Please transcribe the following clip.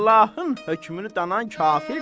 Allahın hökmünü danan kafirdir.